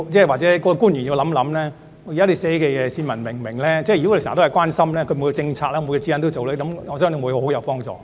或者官員要想想，他們所寫的內容市民會否明白，如果時常留心，每個政策、指引都這樣做，我相信會很有幫助。